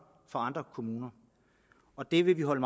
fra andre kommuner og det vil vi holde